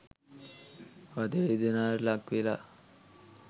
වධ වේදනාවට ලක්වෙලා